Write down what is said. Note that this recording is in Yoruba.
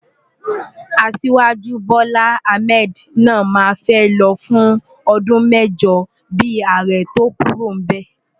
Asiwaju Bola Ahmed náà máa fẹ́ lọ fún ọdún mẹ́jọ bíi ààrẹ tó kúrò níbẹ̀.